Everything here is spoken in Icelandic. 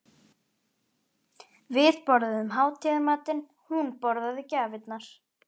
Við borðuðum hátíðarmatinn, hún borðaði gjafirnar.